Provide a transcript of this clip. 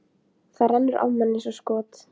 En hann er í veginum fyrir mínum nýju áformum.